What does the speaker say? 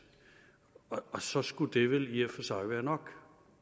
og så skulle det vel i og for sig være nok